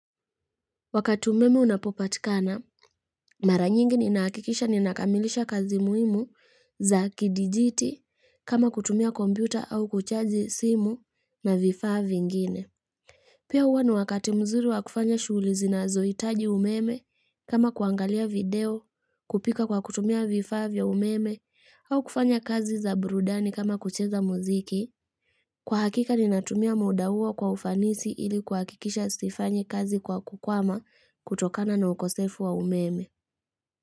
Wakati umeme unapokatikana, mara nyingi ni nahakikisha ni nakamilisha kazi muimu za kidijiti kama kutumia kompyuta au kuchaji simu na vifaavingine. Pia huwa ni wakati mzuri wa kufanya shughuli zina zoitaji umeme kama kuangalia video, kupika kwa kutumia vifaa vya umeme au kufanya kazi za burudani kama kucheza muziki. Kwa hakika ni natumia muda uo kwa ufanisi ili kuhakikisha sifanyi kazi kwa kukwama kutokana na ukosefu wa umeme.